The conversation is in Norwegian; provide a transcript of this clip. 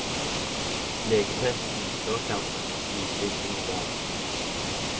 Legetesten før kampen viste ikke noe galt.